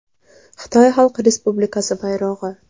Xitoy Xalq Respublikasi bayrog‘i.